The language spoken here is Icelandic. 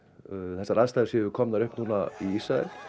þessar aðstæður séu komnar upp núna í Ísrael